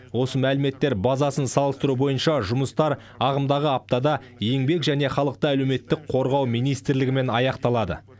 осы мәліметтер базасын салыстыру бойынша жұмыстар ағымдағы аптада еңбек және халықты әлеуметтік қорғау министрлігімен аяқталады